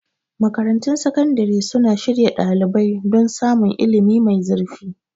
Makarantun Sakandare suna shirya ɗalibai don samun ilimi mai zurfi.